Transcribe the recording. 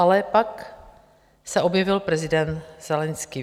Ale pak se objevil prezident Zelenskyj.